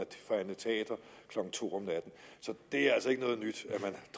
forhandle teater klokken to om natten så det er altså ikke noget nyt